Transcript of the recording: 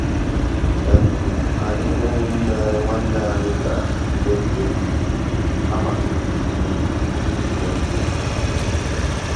ànyị́ ná ụmụ́ nnwànné nná ànyị́ bìàrà ná-ègwúrí égwu kàmà ìkírí íhé nkírí.